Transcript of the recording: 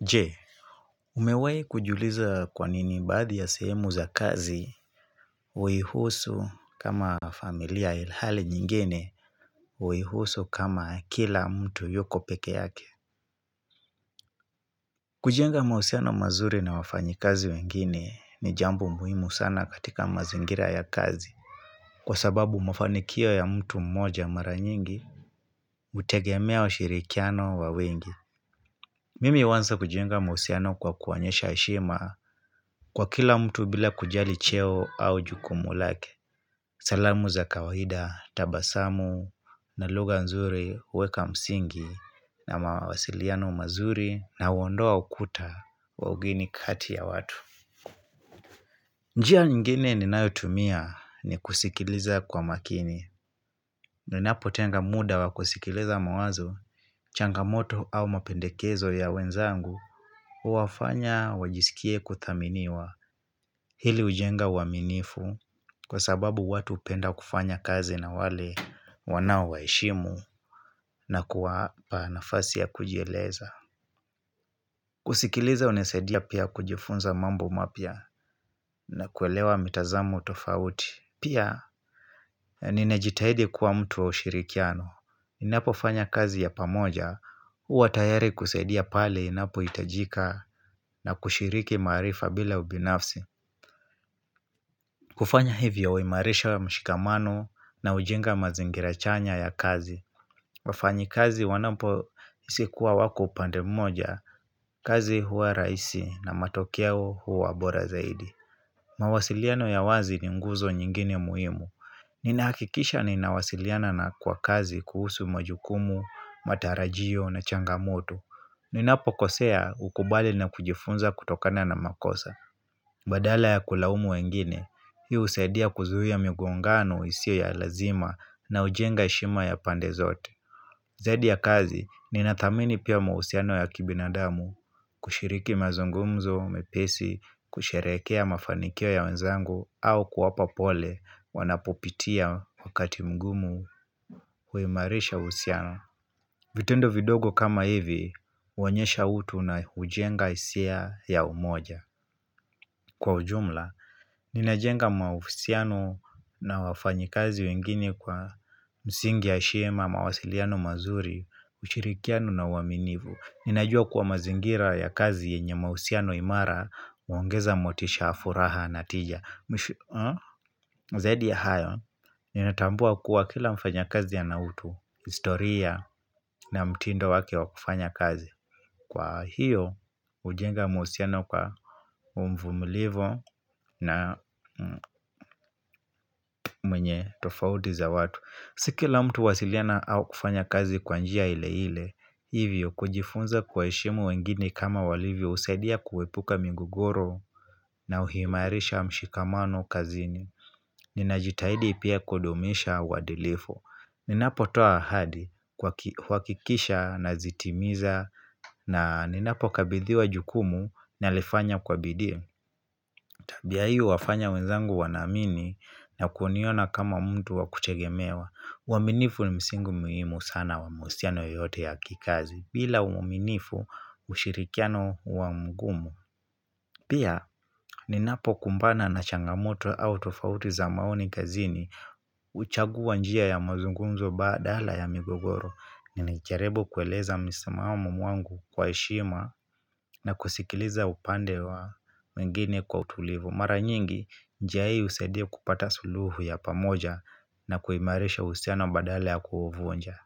Je, umewahi kujiuliza kwanini baadhi ya sehemu za kazi, huihusu kama familia ilhali nyingine, huihusu kama kila mtu yuko pekee yake. Kujenga mahusiano mazuri na wafanyikazi wengine ni jambo muhimu sana katika mazingira ya kazi. Kwa sababu mafanikio ya mtu mmoja mara nyingi, hutegemea ushirikiano wa wengi. Mimi huanza kujenga mahusiano kwa kuonyesha heshima kwa kila mtu bila kujali cheo au jukumu lake. Salamu za kawaida, tabasamu, na lugha nzuri, weka msingi, na mawasiliano mazuri, na huondoa ukuta wa ugeni kati ya watu. Njia nyingine ninayotumia ni kusikiliza kwa makini. Ninapo tenga muda wa kusikiliza mawazo, changamoto au mapendekezo ya wenzangu, huwafanya wajisikie kuthaminiwa hili hujenga uaminifu kwa sababu watu hupenda kufanya kazi na wale wanaowaheshimu na kuwapa nafasi ya kujieleza. Kusikiliza unasaidia pia kujifunza mambo mapya na kuelewa mitazamo tofauti. Pia, ninajitahidi kuwa mtu wa ushirikiano. Ninapo fanya kazi ya pamoja, huwa tayari kusaidia pale inapo hitajika na kushiriki maarifa bila ubinafsi. Kufanya hivyo huimarisha mshikamano na hujenga mazingira chanya ya kazi. Wafanyikazi wanapohisi kuwa wako upande mmoja, kazi huwa rahisi na matokeo huwa bora zaidi. Mawasiliano ya wazi ni nguzo nyingine muhimu. Ninakikisha ninawasiliana na kwa kazi kuhusu majukumu, matarajio na changamoto Ninapokosea hukubali na kujifunza kutokana na makosa Badala ya kulaumu wengine, hii husaidia kuzuia migongano isiyo ya lazima na hujenga heshima ya pande zote Zadi ya kazi, ninathamini pia mauhusiano ya kibinadamu kushiriki mazungumzo, mepesi, kusherehekea mafanikio ya wenzangu au kuwapa pole wanapopitia wakati mgumu huimarisha uhusiano. Vitendo vidogo kama hivi, huonyesha utu na hujenga hisia ya umoja. Kwa ujumla, ninajenga mauhusiano na wafanyikazi wengine kwa msingi ya heshima, mawasiliano mazuri, ushirikiano na uaminivu. Ninajua kuwa mazingira ya kazi yenye mauhusiano imara huongeza motisha furaha na tija Zaidi ya hayo Ninatambua kuwa kila mfanyakazi ana utu historia na mtindo wake wa kufanya kazi Kwa hiyo hujenga mahusiano kwa uvumilivu na mwenye tofauti za watu Si kila mtu huwasiliana au kufanya kazi kwa njia ile ile Hivyo kujifunza kuwaheshimu wengine kama walivyo husadia kuepuka migogoro na huimarisha mshikamano kazini Ninajitahidi pia kudumisha uadilifu Ninapotoa ahadi huhakikisha na zitimiza na ninapo kabidhiwa jukumu nalifanya kwa bidii Tabia hii huwafanya wenzangu wanaamini na kuniona kama mtu wakutegemewa uwaminifu ni msingi muhimu sana wa mahusiano yoyote ya kikazi bila uaminifu ushirikiano huwa mgumu Pia, ninapo kumbana na changamoto au tofauti za maoni kazini huchagua njia ya mazungumzo badala ya migogoro Ninajaribu kueleza msimamo mwangu kwa heshima na kusikiliza upande wa wengine kwa utulivu Mara nyingi, njia husaidia kupata suluhu ya pamoja na kuimarisha uhusiano badala ya kuuvunja